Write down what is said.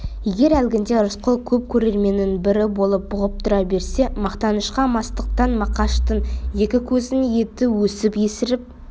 егер әлгінде рысқұл көп көрерменнің бірі болып бұғып тұра берсе мақтанышқа мастықтан мақаштың екі көзінің еті өсіп есіріп